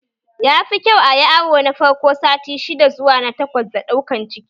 Yafi kyau ayi awo na farko sati shidda zuwa na takwas da ɗaukan ciki